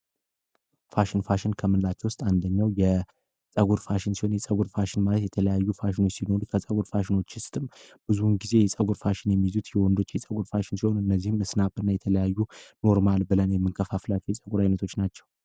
ፋሽን፦ ፋሽን ከምንላቸው ውስጥ አንደኛው የፀጉር ፋሽን ሲሆን የፀጉር ፋሽን ማለት የተለያዩ አይነት ሲኖሩት ከፀጉር ፋሽኖችም ውስጥ ብዙ ጊዜ የሚይዙት የወንዶች ፋሽን ፀጉር ሲሆን እነዚህን በተለያዩ ኖርማል ብለን የምንከፋፍለው የፀጉር አይነቶች ናቸው።